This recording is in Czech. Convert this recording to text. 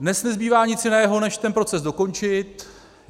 Dnes nezbývá nic jiného než ten proces dokončit.